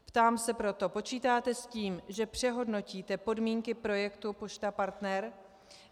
Ptám se proto, počítáte s tím, že přehodnotíte podmínky projektu Pošta Partner?